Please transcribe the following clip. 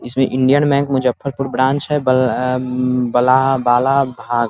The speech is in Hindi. इसमें इंडियन बैंक मुजफ्फरपुर ब्रांच है बला बाला भाल --